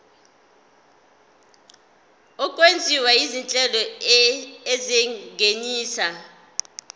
okwenziwa izinhlelo ezingenisa